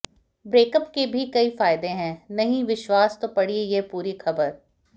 breakup के भी कई फायदे हैं नहीं विश्वास तो पढ़िए यह पूरी खबर